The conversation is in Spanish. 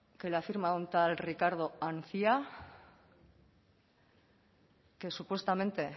que la firma un tal ricardo cía que supuestamente